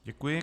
Děkuji.